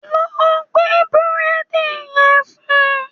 Lọ gbé Búrẹ́dì yẹn fún un